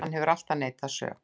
Hann hefur alltaf neitað sök